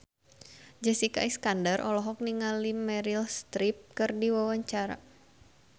Jessica Iskandar olohok ningali Meryl Streep keur diwawancara